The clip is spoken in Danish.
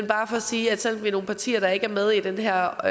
bare for at sige at selv vi nogle partier der ikke er med i den her